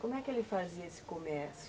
Como é que ele fazia esse comércio?